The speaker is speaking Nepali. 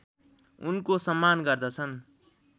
उनको सम्मान गर्दछन्